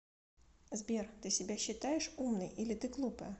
сбер ты себя считаешь умной или ты глупая